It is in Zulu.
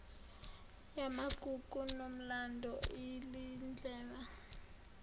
yamagugu nomlando liyindlela